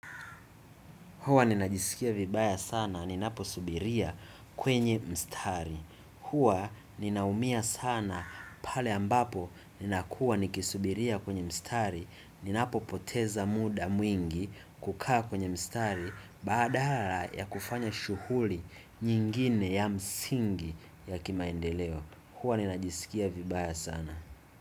Huwa ninajisikia vibaya sana, ninapo subiria kwenye mstari. Huwa ninaumia sana pale ambapo ninakua nikisubiria kwenye mstari, ninapo poteza muda mwingi kukaa kwenye mstari badala ya kufanya shughuli nyingine ya msingi ya kimaendeleo. Hwa ninajisikia vibaya sana.